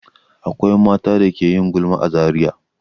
Akwai mata da ke yin gulma a Zariya.